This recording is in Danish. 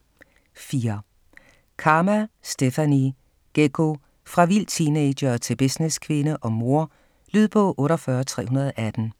4. Karma, Stephanie: Geggo: fra vild teenager til businesskvinde og mor Lydbog 48318